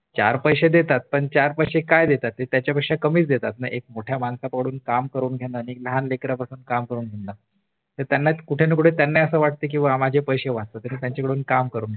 चार पैशे देतात पण चार पैशे काय देतात हे त्याच्या पेक्षा कमीच देतात एक मोठ्या माणसाकडून काम करून घेण हे त्यांना कुठे कुठे त्यांनाही असं वाटत की बुवा माझे पैसे वाचतात मग ते त्यांच्याकडून काम करून घेतात